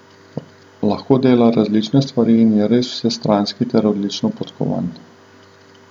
Lahko dela različne stvari in je res vsestranski ter odlično podkovan.